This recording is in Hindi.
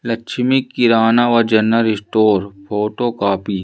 लक्ष्मी किराना व जनरल स्टोर फोटो कॉपी --